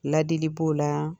Ladili b'o la